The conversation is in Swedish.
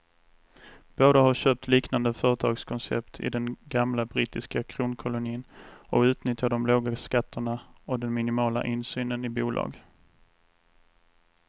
Båda har köpt liknande företagskoncept i den gamla brittiska kronkolonin och utnyttjar de låga skatterna och den minimala insynen i bolag.